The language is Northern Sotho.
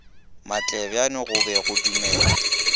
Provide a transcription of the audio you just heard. matlebjane go be go dumelwa